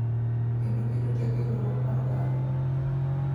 Kendo keto teko e riwruok mar oganda.